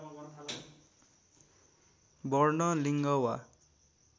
वर्ण लिङ्ग वा